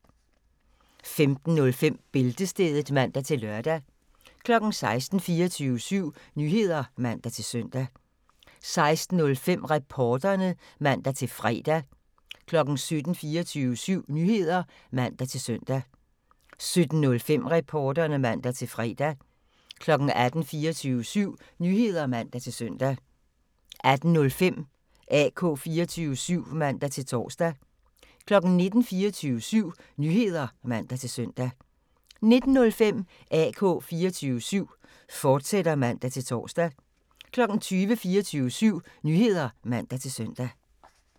15:05: Bæltestedet (man-lør) 16:00: 24syv Nyheder (man-søn) 16:05: Reporterne (man-fre) 17:00: 24syv Nyheder (man-søn) 17:05: Reporterne (man-fre) 18:00: 24syv Nyheder (man-søn) 18:05: AK 24syv (man-tor) 19:00: 24syv Nyheder (man-søn) 19:05: AK 24syv, fortsat (man-tor) 20:00: 24syv Nyheder (man-søn)